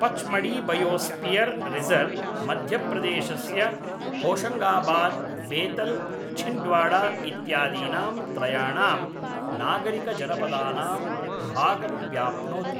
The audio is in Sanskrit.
पच्मढ़ीबयोस्पियर् रिसर्व्, मध्यप्रदेशस्य होशंगाबाद्, बेतल्, छिन्द्वाड़ा इत्यादीनां त्रयाणां नागरिकजनपदानां भागं व्याप्नोति।